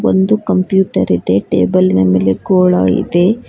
ಒಂದು ಕಂಪ್ಯೂಟರ್ ಇದೆ ಟೇಬಲ್ ನ ಮೇಲೆ ಗೋಳ ಇದೆ.